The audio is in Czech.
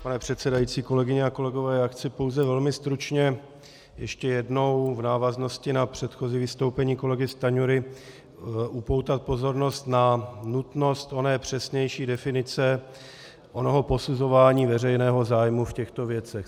Pane předsedající, kolegyně a kolegové, já chci pouze velmi stručně ještě jednou v návaznosti na předchozí vystoupení kolegy Stanjury upoutat pozornost na nutnost oné přesnější definice onoho posuzování veřejného zájmu v těchto věcech.